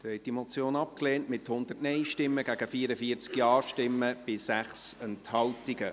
Sie haben diese Motion abgelehnt, mit 100 Nein- gegen 44 Ja-Stimmen bei 6 Enthaltungen.